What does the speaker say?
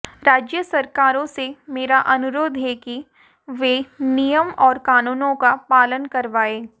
राज्य सरकारों से मेरा अनुरोध है कि वे नियम और कानूनों का पालन करवाएं